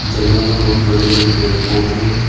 जंगल में बहुत बड़े बड़े पेड़ पौधे हैं।